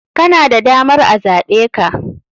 Kana da damar a zaɓeka.